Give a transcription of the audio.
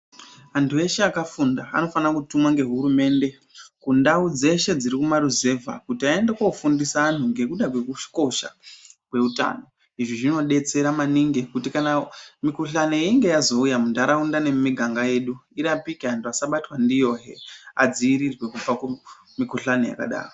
Andu eshee akafunda anofana kutumwa nehurumende kundawu dzeshe dziri muma ruzevha kuti aende kundofundisa anhu ngendawu yekukosha kweutano izvi zvinobetsera maningi kuti kan weinge yazouya mundarunda nemumiganga yedu irapike anhu asabatwa ndiyo hee adziirirwe kubva kumikhuhlani yakadaro.